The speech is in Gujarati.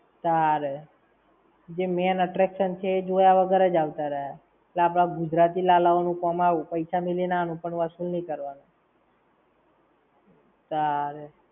તારે. જે main attraction છે એ જોયા વગર જ આવતા રયા. તે આપણા ગુજરાતી લાલાઓ નું કોમ આવું, પૈસા મેલી ને આવાનું પણ વસુલ નાઈ કરવાનું. તારે.